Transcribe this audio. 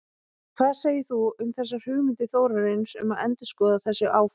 Hvað segir þú um þessar hugmyndir Þórarins um að endurskoða þessi áform?